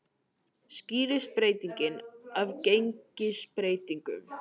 Skýrist breytingin af gengisbreytingum